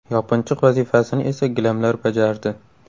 Yopinchiq vazifasini esa gilamlar bajardi.